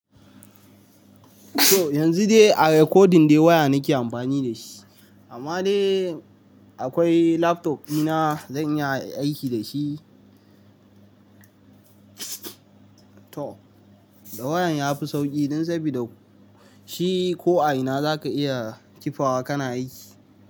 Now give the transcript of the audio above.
So yanzu dai a recording dai waya nake amfani da shi, amma dai akwai laptop dina zan iya aiki da shi. Da wayan ya fi sauki don sabida shi ko a ina za ka iya kifawa kana aiki.